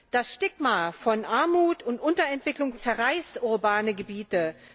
Das Stigma von Armut und Unterentwicklung zerreißt urbane Gebiete.